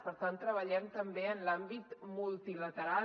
per tant treballem també en l’àmbit multilateral